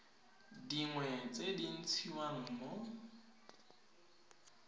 dingwe tse di ntshiwang mo